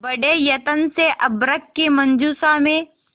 बड़े यत्न से अभ्र्रक की मंजुषा में